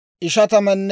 Zaabiloona 57,400;